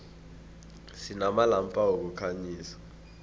sinamalampa wokukhanyisa